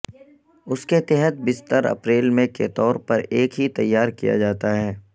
اس کے تحت بستر اپریل میں کے طور پر ایک ہی تیار کیا جاتا ہے